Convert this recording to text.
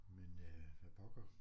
Men øh hvad pokker